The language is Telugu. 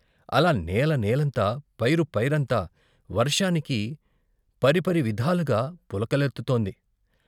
అలా నేలనేలంతా, పైరు పైరంతా వర్షానికి పరిపరివిధాలుగా పులకలెత్తుతోంది.